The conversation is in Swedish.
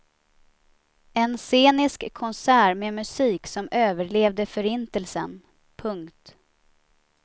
En scenisk konsert med musik som överlevde förintelsen. punkt